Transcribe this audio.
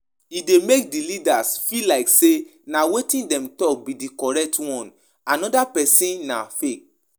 Dem de um make persin no go marry from another religion